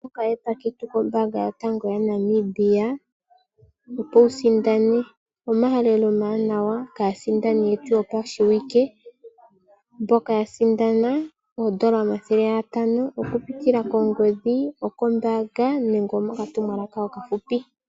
Okapandja ketu kombaanga yotango yopashigwana moNamibia, opo wu sindane, omahalelo omawanawa kaasindani yoshiwike mboka ya sindana oondola omathele gatano oku pitila kongodhi kombaanga nenge mokatumwalaka okafupi,